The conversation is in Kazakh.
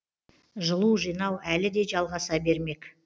жылу жинау әлі де жалғаса бермек